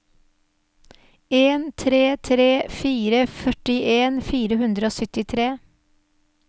en tre tre fire førtien fire hundre og syttitre